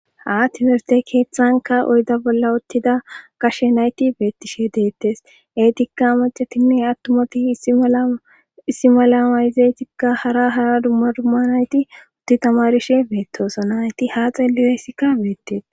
ha timerste keeththanka oyda bolla ottida kashe nayti beettishe deettes eetikka macatinne attumati issimalamayzeetikka hara hara dumma dumma nayti utti tamarishe beettoosa nayti haa xellileesikka beettes